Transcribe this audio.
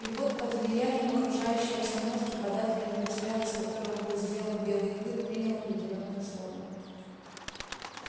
и вот под влиянием окружающей обстановки податливый материал из которого был сделан белый клык принял определённую форму